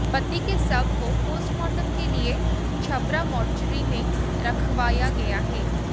पति के शव को पोस्टमार्टम के लिए छबरा मोर्चरी में रखवाया गया है